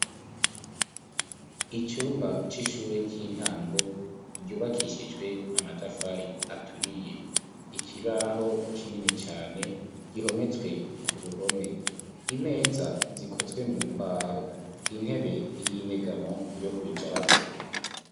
Icumba c'ishure ry'intango ryubakishijwe amatafari aturiye. Ikibaho kinini cane gihometswe ku ruhome. Imeza zikozwe mu mbaho. Intebe y'inyegamo yo kwicarako.